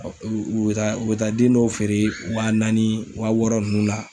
U bɛ taa u bɛ taa den dɔw feere wa naani wa wɔɔrɔ ninnu la.